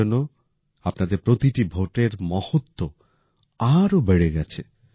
এই জন্য আপনাদের প্রতিটি ভোটের মহত্ব আরও বেড়ে গেছে